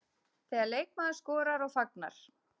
Þegar leikmaður skorar og fagnar.